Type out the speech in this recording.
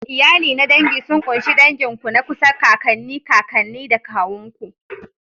Iyali na dangi sun ƙunshi dangin ku na kusa, kakanni, kakanni da kawun ku.